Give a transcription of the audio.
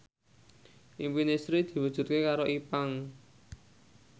impine Sri diwujudke karo Ipank